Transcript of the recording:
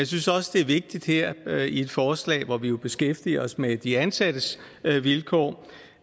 synes også det er vigtigt her i et forslag hvor vi jo beskæftiger os med de ansattes vilkår